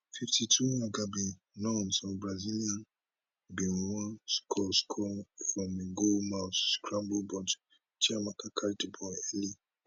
fifty two agabi nunes of brazilian bin wan score score from a goal mouth scramble but chiamaka catch di ball early